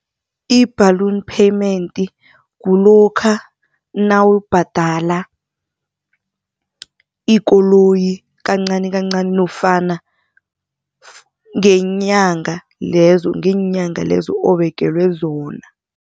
I-balloon payment kulokha nawubhadala ikoloyi kancani kancani nofana ngeenyanga lezo obekelwe zona.